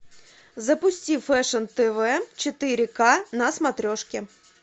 запусти фэшен тв четыре к на смотрешке